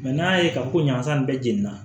n'a ye ka ko ɲagasa bɛɛ jeni na